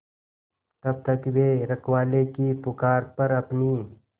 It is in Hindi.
तब तक वे रखवाले की पुकार पर अपनी